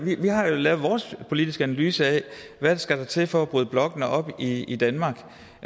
har jo lavet vores politiske analyse af hvad der skal til for at bryde blokkene op i i danmark